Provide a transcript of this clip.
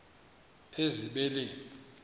ezibeleni